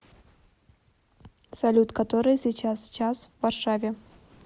салют который сейчас час в варшаве